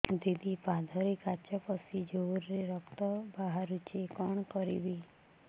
ଦିଦି ପାଦରେ କାଚ ପଶି ଜୋରରେ ରକ୍ତ ବାହାରୁଛି କଣ କରିଵି